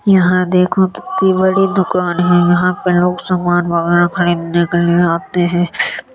यहां देखो कित्ती बड़ी दुकान है। यहाँ पर लोग सामान वगेरा खरीदने के लिए आते हैं।